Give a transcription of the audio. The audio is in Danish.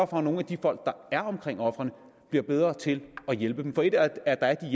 for at nogle af de folk der er omkring ofrene bliver bedre til at hjælpe dem for et er at der er